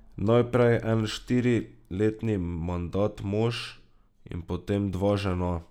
Najprej en štiriletni mandat mož in potem dva žena.